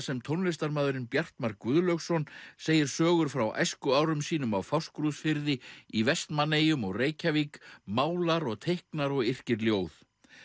sem tónlistarmaðurinn Bjartmar Guðlaugsson segir sögur frá æskuárum sínum á Fáskrúðsfirði í Vestmannaeyjum og Reykjavík málar og teiknar og yrkir ljóð